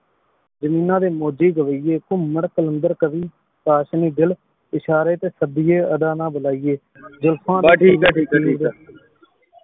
ਜ਼ਮੀਨਾਂ ਦੇ ਮੋਜੀ ਰਵੈਯੇ ਘੁਮਾਣ ਕ਼ਾਲਾਨਦਾਰ ਕਵਿ ਪਾਸ਼੍ਨੀ ਦਿਲ ਇਸ਼ਾਰੇ ਤੇ ਸਦੀਯਾਯ ਅਗਨ ਨਾ ਬੁਲੈਯਾਯ ਜੁਲਫਾਂ